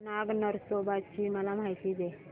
नाग नरसोबा ची मला माहिती दे